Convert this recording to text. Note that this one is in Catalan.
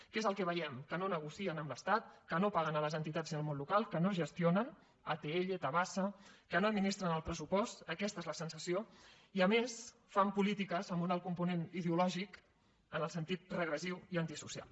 què és el que veiem que no negocien amb l’estat que no paguen les entitats i el món local que no gestionen atll tabasa que no administren el pressupost aquesta és la sensació i a més que fan polítiques amb un alt component ideològic en el sentit regressiu i antisocial